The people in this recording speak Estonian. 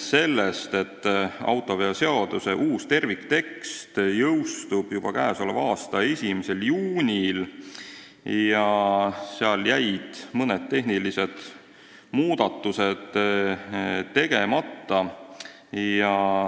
sellest, et autoveoseaduse uus terviktekst jõustub juba k.a 1. juunil, aga seal on jäänud tegemata mõned tehnilised muudatused.